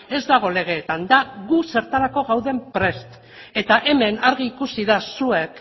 ez dago legeetan da gu zertarako gauden prest eta hemen argi ikusi da zuek